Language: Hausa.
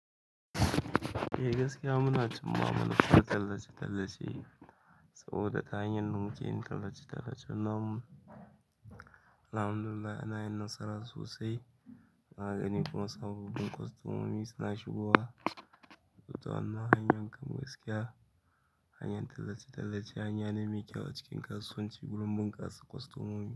Eh gaskiya munacin ma'amalan tallace-tallace saboda hanyar da muke yin tallace-tallacen namu. Alhamdulillah ana yin nasara sosai. Na gani kuma sabobin kwastomomi suna shigowa. To wannan hanyar kam gaskiya hanyar tallace-tallace hanya ne mai kyau a cikin kasuwanci, bulumbun kasa kwastomomi.